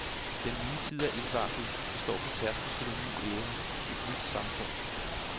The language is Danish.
Den nye tid er indvarslet, vi står på tærsklen til en ny æra, et nyt samfund.